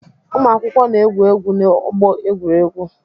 Ụmụakwụkwọ na-egwu egwu n'ọgbọ egwuregwu.